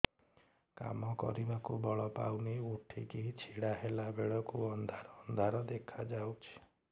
କାମ କରିବାକୁ ବଳ ପାଉନି ଉଠିକି ଛିଡା ହେଲା ବେଳକୁ ଅନ୍ଧାର ଅନ୍ଧାର ଦେଖା ଯାଉଛି